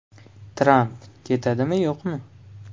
Tramp ketadimi, yo‘qmi?